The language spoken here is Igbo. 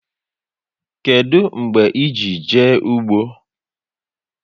Kedu mgbe e ji jee ụgbọ?